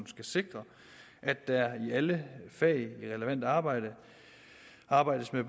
skal sikre at der i alle fag i relevant arbejde arbejdes med